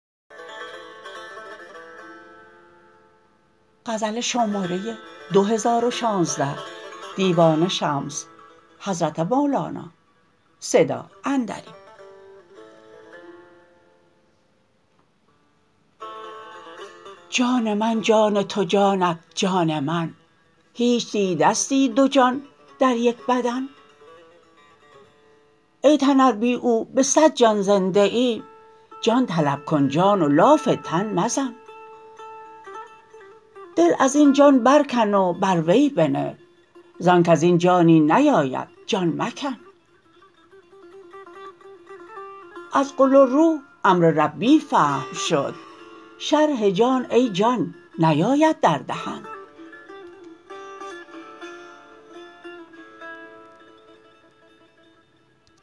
جان من جان تو جانت جان من هیچ دیدستی دو جان در یک بدن ای تن ار بی او به صد جان زنده ای جان طلب کن جان و لاف تن مزن دل از این جان برکن و بر وی بنه ز آنک از این جانی نیاید جان مکن از قل الروح امر ربی فهم شد شرح جان ای جان نیاید در دهن